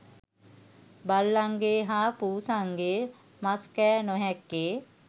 බල්ලන්ගේ හා පුසන්ගේ මස්කෑ නොහැක්කේ